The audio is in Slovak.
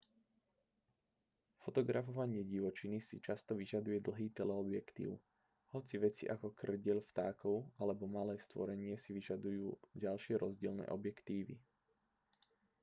fotografovanie divočiny si často vyžaduje dlhý teleobjektív hoci veci ako kŕdeľ vtákov alebo malé stvorenie si vyžadujú ďalšie rozdielne objektívy